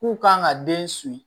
K'u kan ka den